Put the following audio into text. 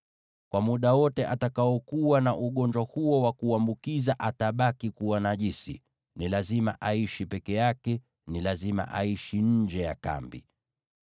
Kwa muda wote atakaokuwa na ugonjwa huo wa kuambukiza atabaki kuwa najisi. Ni lazima aishi peke yake; ni lazima aishi nje ya kambi.